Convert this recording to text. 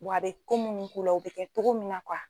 Wa a bɛ ko minnu k'u la o bɛ kɛ cogo min